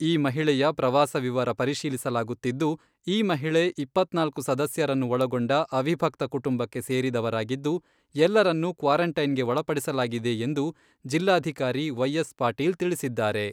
ಈ ಮಹಿಳೆಯ ಪ್ರವಾಸ ವಿವರ ಪರಿಶೀಲಿಸಲಾಗುತ್ತಿದ್ದು, ಈ ಮಹಿಳೆ ಇಪ್ಪತ್ನಾಲ್ಕು ಸದಸ್ಯರನ್ನು ಒಳಗೊಂಡ ಅವಿಭಕ್ತ ಕುಟುಂಬಕ್ಕೆ ಸೇರಿದವರಾಗಿದ್ದು, ಎಲ್ಲರನ್ನೂ ಕ್ವಾರೆಂಟೈನ್ಗೆ ಒಳಪಡಿಸಲಾಗಿದೆ ಎಂದು ಜಿಲ್ಲಾಧಿಕಾರಿ ವೈ ಎಸ್ ಪಾಟೀಲ್ ತಿಳಿಸಿದ್ದಾರೆ.